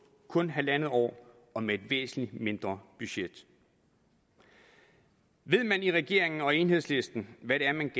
kun halvandet år og med et væsentlig mindre budget ved man i regeringen og enhedslisten hvad det er man